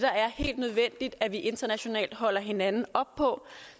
helt nødvendigt at vi internationalt holder hinanden op på